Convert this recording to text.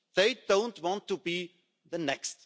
They don't want to be the next.